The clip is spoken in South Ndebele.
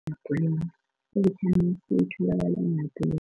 ivithamini C itholakala